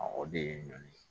o de ye ɲɔn ye